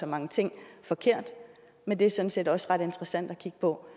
mange ting forkert men det er sådan set også ret interessant at kigge på